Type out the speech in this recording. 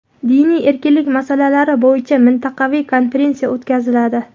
Diniy erkinlik masalalari bo‘yicha mintaqaviy konferensiya o‘tkaziladi.